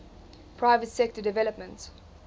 private sector development